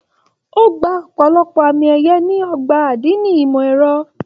O gbà ọpọlọpọ àmì ẹyẹ ní ọgbà adini ìmọ ẹrọ.